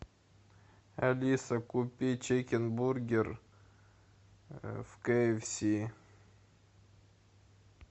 алиса купи чикен бургер в кэ эф си